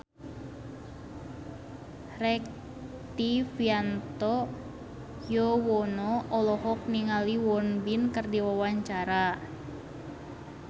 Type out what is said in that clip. Rektivianto Yoewono olohok ningali Won Bin keur diwawancara